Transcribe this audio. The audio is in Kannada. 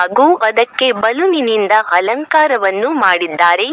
ಹಾಗೂ ಅದಕ್ಕೆ ಬಲೂನಿನಿಂದ ಅಲಂಕಾರ ಮಾಡಿದ್ದಾರೆ.